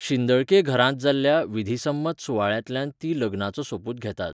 शिंदळके घरांत जाल्ल्या विधिसम्मत सुवाळ्यांतल्यान तीं लग्नाचो सोपूत घेतात.